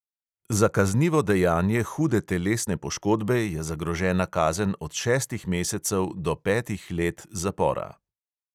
Za kaznivo dejanje hude telesne poškodbe je zagrožena kazen od šestih mesecev do petih let zapora.